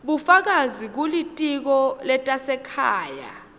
bufakazi kulitiko letasekhaya